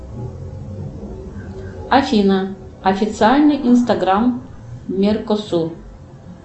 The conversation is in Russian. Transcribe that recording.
афина официальный инстаграм меркосу